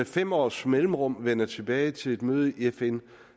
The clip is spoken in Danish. fem års mellemrum vender tilbage til et møde i fn